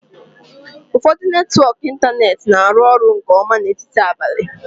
Ụfọdụ netwọk ịntanetị na-arụ ọrụ nke ọma n'etiti abalị.